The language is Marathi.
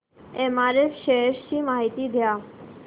एमआरएफ शेअर्स ची माहिती द्या